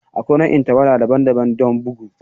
Akwai nau'in tawada daban-daban don bugu.